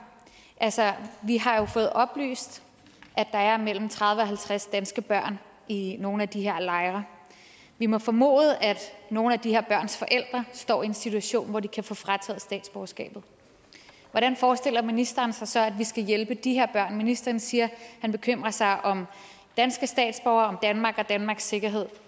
altså vi har jo fået oplyst at der er mellem tredive og halvtreds danske børn i nogle af de her lejre vi må formode at nogle af de her børns forældre står i en situation hvor de kan få frataget statsborgerskabet hvordan forestiller ministeren sig så at vi skal hjælpe de her børn ministeren siger han bekymrer sig om danske statsborgere om danmark og danmarks sikkerhed